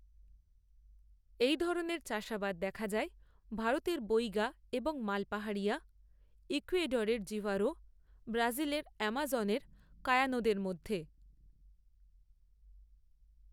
এই ধরনের চাষাবাদ দেখা যায় ভারতের বৈগা এবং মাল পাহাড়িয়া ইকুয়েডরের জিভারো ব্রাজিলের আমাজনের কায়ানোদের মধ্যে।